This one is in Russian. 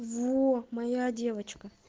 во моя девочка